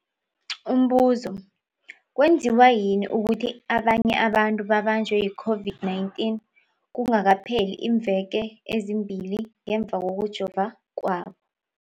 Umbuzo, kwenziwa yini ukuthi abanye abantu babanjwe yi-COVID-19 kungakapheli iimveke ezimbili ngemva kokujova kwabo?